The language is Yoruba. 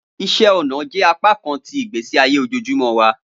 Iṣẹ ọna jẹ apakan ti igbesi aye ojoojumọ wa.